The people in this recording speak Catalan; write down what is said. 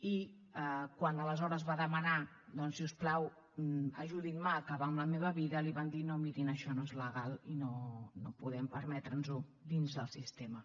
i quan aleshores va demanar doncs si us plau ajudin me a acabar amb la vida li van dir no miri això no és legal i no podem permetre’ns ho dins el sistema